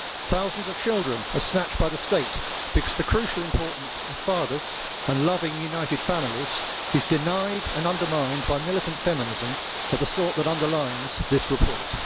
Thousands of children are snatched by the state because the crucial importance of fathers and loving, united families is denied and undermined by militant feminism of the sort that underlies this report.